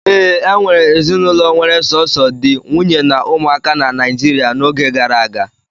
Ee, e nwere ezinụlọ were sọsọ di, nwunye na ụmụaka na Naịjirịa n'oge gara aga.